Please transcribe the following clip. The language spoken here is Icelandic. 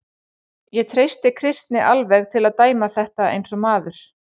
Ég treysti Kristni alveg til að dæma þetta eins og maður.